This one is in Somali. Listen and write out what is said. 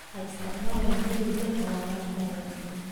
Ha isticmaalin hilib leh calaamado kharriban.